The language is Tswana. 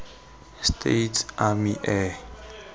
states army air